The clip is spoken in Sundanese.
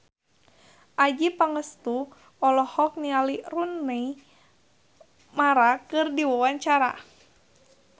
Adjie Pangestu olohok ningali Rooney Mara keur diwawancara